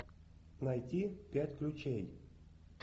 найти пять ключей